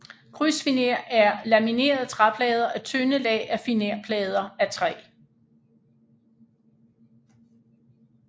Krydsfiner er laminerede træplader af tynde lag af finerplader af træ